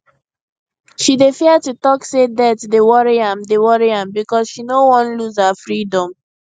she dey fear to talk say debt dey worry am dey worry am because she no wan lose her freedom